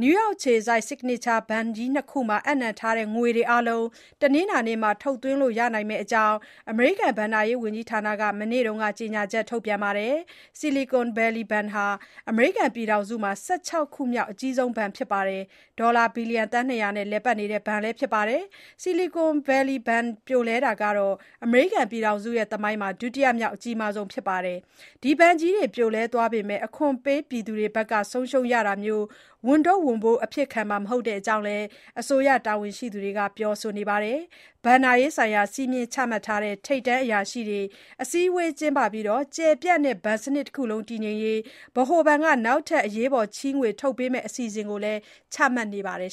နယူးယောက်အခြေစိုက် Signature Bank ကြီးနှစ်ခုမှာ အပ်နှံထားတဲ့ငွေတွေ အားလုံး တနင်္လာနေ့ ထုတ်သွင်းလို့ ရနိုင်မယ့်အကြောင်း အမေရိကန် ဘဏ္ဍာရေးဝန်ကြီးဌာနက မနေ့က ကြေညာချက် ထုတ်ပြန်ထားပါတယ်။ Silicon Valley Bank ဟာ အမေရိကန်ပြည်ထောင်စုမှာ ၁၆ ခုမြောက် အကြီးဆုံးဘဏ်ဖြစ်ပြီး ဒေါ်လာ ဘီလျံ ၂၀၀ နဲ့ လည်ပတ်နေတဲ့ ဘဏ်ဖြစ်ပါတယ်။ Silicon Valley ဘဏ် ပြိုလဲတာဟာ အမေရိကန်ပြည်ထောင်စု သမိုင်းမှာ ဒုတိယမြောက် အကြီးမားဆုံး ဖြစ်ပါတယ်။ ဒီဘဏ်ကြီးတွေ ပြိုလဲသွားပေမယ့် အခွန်ပေးပြည်သူတွေဘက်က ဆုံးရှုံးရတာမျိုး ဝန်ထုတ်ဝန်ပိုးအဖြစ်ခံမှာ မဟုတ်တဲ့အကြောင်း အစိုးရတာဝန်ရှိသူတွေက ပြောဆိုနေပါတယ်။ ဘဏ္ဍာရေးဆိုင်ရာ စည်းမျဉ်းချမှတ်တဲ့ ထိပ်တန်းအရာရှိတွေ အစည်းအဝေးကျင်းပပြီး ကျယ်ပြန့်တဲ့ ဘဏ်စနစ်တခုလုံး တည်ငြိမ်ရေး ဗဟိုဘဏ်က နောက်ထပ် အရေးပေါ် ချေးငွေထုတ်ပေးမယ့် အစီအစဉ်တွေ ချမှတ်နေပါတယ်